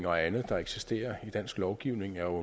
og andet der eksisterer i dansk lovgivning jo